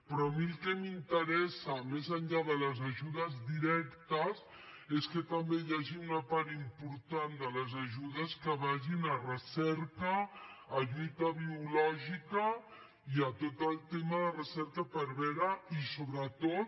però a mi el que m’interessa més enllà de les ajudes directes és que també hi hagi una part important de les ajudes que vagin a recerca a lluita biològica i a tot el tema de recerca per veure i sobretot